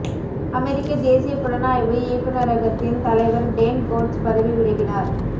அமெரிக்க தேசிய புலனாய்வு இயக்குநரகத்தின் தலைவர் டேன் கோட்ஸ் பதவி விலகினார்